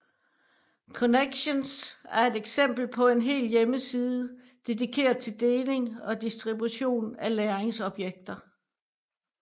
Connexions er et eksempel på en hel hjemmeside dedikeret til deling og distribution af læringsobjekter